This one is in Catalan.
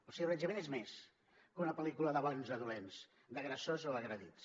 el ciberassetjament és més que una pel·lícula de bons o dolents d’agressors o agredits